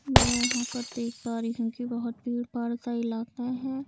मैं यहां पर देख पा रही हूं कि बहुत भीड़ पाड़ का इलाका है।